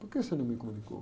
Por que você não me comunicou?